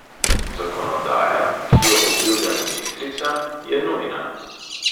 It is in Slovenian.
Zakonodaja, ki jo obljublja ministrica, je nujna.